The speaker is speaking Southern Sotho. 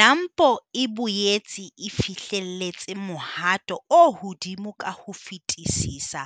NAMPO e boetse e fihlelletse mohato o hodimo ka ho fetisisa